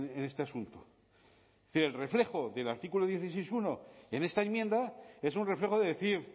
en este asunto fiel reflejo del artículo dieciséis punto uno en esta enmienda es un reflejo de decir